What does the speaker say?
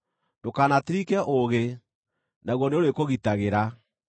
Ndũkanatirike ũũgĩ, naguo nĩũrĩkũgitagĩra;